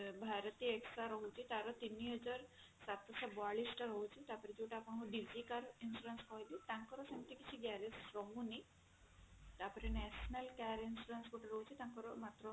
bharat axa ରହୁଛି ତାର ତିନି ହଜାର ସାତଶହ ବୟାଲିଶ ଟା ରହୁଛି ତାପରେ ଯଉଟା ଆପଣଙ୍କର digital insurance କହିଲି ତାଙ୍କର ସେମିତି କିଛି garage ରହୁନି ତାପରେ national car insurance ଗୋଟେ ରହୁଛି ତାର ମାତ୍ର